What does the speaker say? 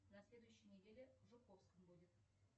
на следующей неделе в жуковском будет